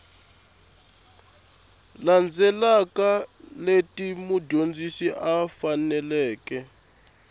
landzelaka leti mudyondzi a faneleke